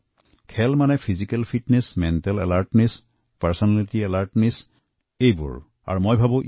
খেলাধুলা মানে শাৰীৰিক সুস্থতা মানসিক সচেতনতা ব্যক্তিত্ব বিকাশ ঘটোৱা